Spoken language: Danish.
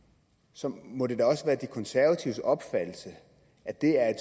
så må det da også være de konservatives opfattelse at det er